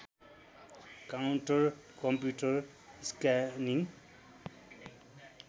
counter computer scanning